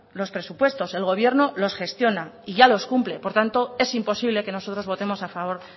los presupuestos el gobierno los gestiona y ya los cumple por tanto es imposible que nosotros votemos a favor